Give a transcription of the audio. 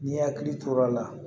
N'i hakili to l'o la